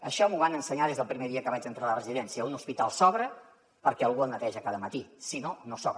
això m’ho van ensenyar des del primer dia que vaig entrar a la residència un hospital s’obre perquè algú el neteja cada matí si no no s’obre